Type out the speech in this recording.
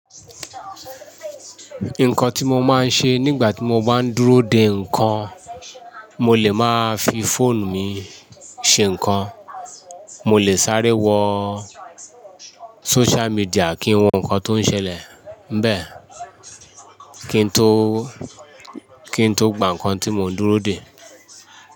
Nǹkan tí mo máa ń ṣe nígbà tí mo bá ń dúró dè nǹkan, mo lè máa fi fóònù mi ṣe nǹkan. Mo lè sáré wo social media kín wo nǹkan tó ń ṣẹlẹ̀. Bẹ́ẹ̀ kín tó, kín tó gba nǹkan tí mò ń dúró dè.